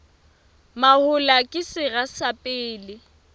mahola ke sera sa pele